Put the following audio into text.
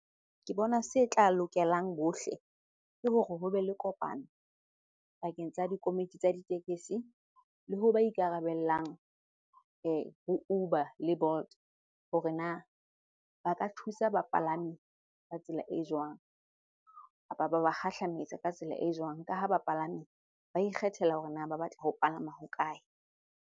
Ke bona se tla lokelang bohle, ke hore ho be le kopano pakeng tsa dikomiti tsa ditekesi le ho ba ikarabellang ho Uber le Bolt. Hore na ba ka thusa bapalami ka tsela e jwang kapa ba ba kgahlametsa ka tsela e jwang? Ka ha bapalami ba ikgethela hore na ba batla ho palama ho kae.